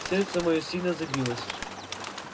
сердце моё сильно забилось